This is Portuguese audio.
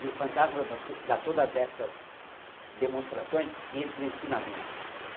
E o fantasma dá to dá todas essas demonstrações e esses ensinamentos.